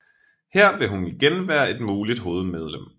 Her vil hun igen være et muligt holdmedlem